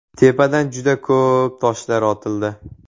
Tepadan juda ko‘p toshlar otildi.